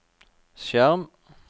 skjerm